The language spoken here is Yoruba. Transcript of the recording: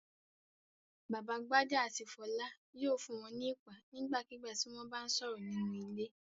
Bàbá Gbadé àti Fọlá yóò fún wọn ní iìpá nígbàkigbà tí wọ́n bá sọ̀rọ̀ nínú ilé.